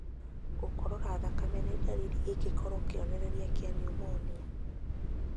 Gũkorora thakame nĩ ndariri ĩngĩkorwo kĩonereria kĩa pneumonia.